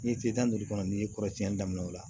Ni tile tan ni duuru kɔnɔ n'i ye kɔrɔsiɲɛli daminɛ o la